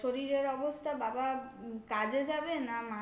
শরীরের অবস্থা বাবা কাজে যাবে না মাকে